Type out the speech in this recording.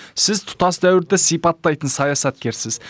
сіз тұтас дәуірді сипаттайтын саясаткерсіз